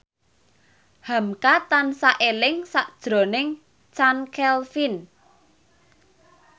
hamka tansah eling sakjroning Chand Kelvin